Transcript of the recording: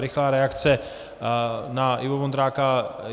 Rychlá reakce na Iva Vondráka.